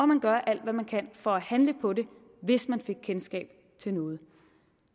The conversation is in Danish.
man gør alt hvad man kan for at handle på det hvis man fik kendskab til noget